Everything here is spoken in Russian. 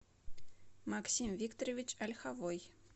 максим викторович ольховой